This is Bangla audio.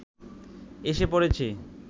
এসে পড়েছি